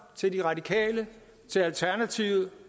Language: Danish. til de radikale til alternativet